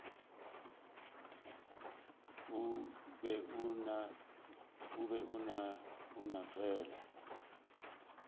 o be a no fela